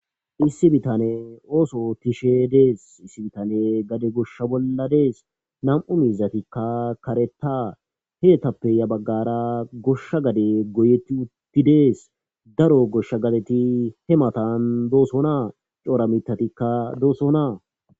issi bitane ooso tishe dees issi bitane gade gosha bolladees nam7u mizatikka kareta heetappe ya baggara goshsha gade goyetti uttidees daro goshsha gadeti he matan dooso naa coora mitatikka doosona